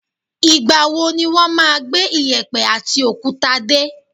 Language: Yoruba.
Ìgbàwo wọn máa gbé iyẹ̀pẹ̀ àti òkúta dé?